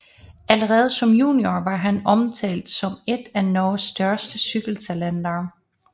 Allerede som junior var han omtalt som et af Norges største cykeltalenter